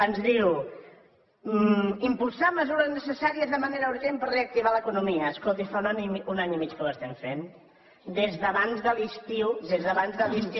ens diu impulsar mesures necessàries de manera urgent per reactivar l’economia escolti fa un any i mig que ho estem fent des d’abans de l’estiu des d’abans de l’estiu